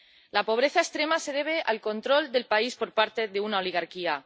La pobreza extrema se debe al control del país por parte de una oligarquía.